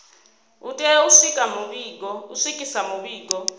u tea u swikisa mivhigo